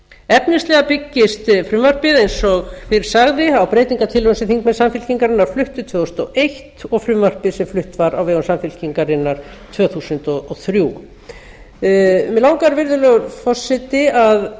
efnislega byggist frumvarpið eins og fyrr sagði á breytingartillögum sem þingmenn samfylkingarinnar fluttu tvö þúsund og eins og frumvarpið sem flutt var á vegu samfylkingarinnar tvö þúsund og þrjú mig langar virðulegur forseti